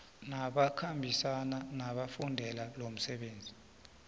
nabakhambisani abafundele lomsebenzi